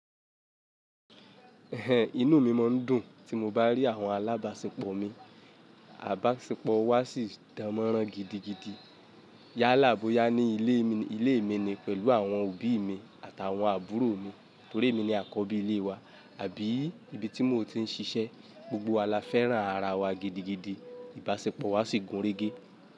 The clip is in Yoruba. Ẹ̀hẹ̀n inú mi máa ń dùn tí mo bá rí àwọn alábàáṣepọ̀ mi, àbáṣepọ̀ wa sì dánmọ́nrán gidigidi. Yálà bọya ní ilé mi ni pẹ̀lú àwọn òbí mi àtàwọn àbúrò mi nítorí èmi ni àkọ́bí ilé wa àbí ìbí tí mo ti ń ṣiṣẹ́. Gbogbo wa la fẹ́ràn ara wa gidigidi, ìbáṣepọ̀ wa sì gúnrégé.